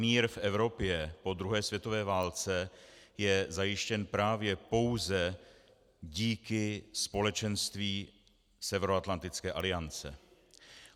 Mír v Evropě po druhé světové válce je zajištěn právě pouze díky společenství Severoatlantické aliance.